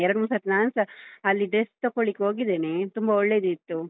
ಎರ್ಡ್‌ ಮೂರ್‌ ಸರ್ತಿ ನಾನುಸಾ ಅಲ್ಲಿ dress ತೊಕೊಳ್ಳಿಕ್‌ ಹೋಗಿದ್ದೇನೆ, ತುಂಬಾ ಒಳ್ಳೇದಿತ್ತು.